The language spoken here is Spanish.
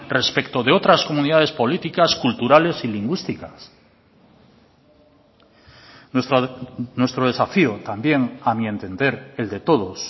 respecto de otras comunidades políticas culturales y lingüísticas nuestro desafío también a mi entender el de todos